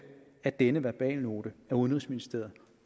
at denne verbalnote fra udenrigsministeriet